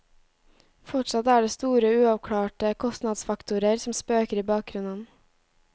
Fortsatt er det store uavklarte kostnadsfaktorer som spøker i bakgrunnen.